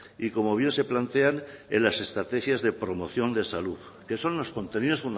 y como bien se plantean en las estrategias de promoción de salud que son los contenidos